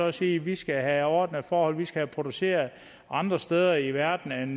og sige vi skal have ordnede forhold vi skal produceret andre steder i verden end